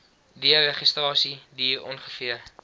deregistrasie duur ongeveer